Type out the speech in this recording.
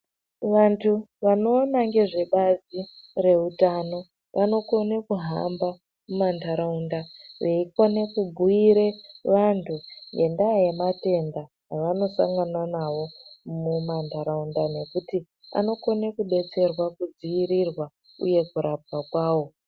Vantu vanoone ngezve bazi rwutano vanokoñe kuhamba mumantaraunda beikone kubhúire vantu ngendaa yematénda avanosangana nawo mumantaràunda nekuti anokone kúdetserwa kudziirirwa uye kurapwà kwawo.